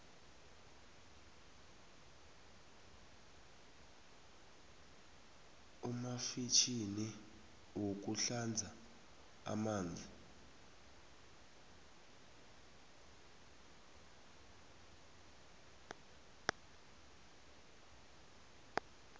umfjhini woku hlanza unamanzi atjhisoko